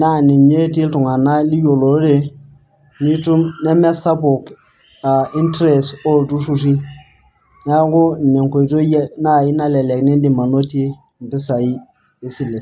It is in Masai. naa ninye etii iltung'ana liyiolorere. neme sapuk interest ooltururi. neeku ine enkoitoi nalelek idim anotie mpisai naai esile.